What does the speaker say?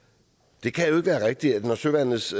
det kan jo ikke være rigtigt at søværnets